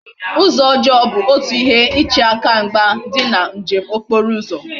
Uzo ojoo bu otu ihe iche aka mgba di na njem okporo uzo